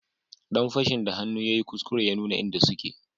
Dan fashin da hannu yayi kuskure ya nuna inda suke